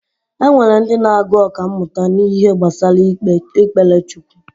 Enwere ndị na-agu ọkammụta n’ihe gbasara ikpere chukwu